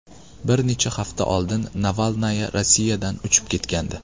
Bir necha hafta oldin Navalnaya Rossiyadan uchib ketgandi .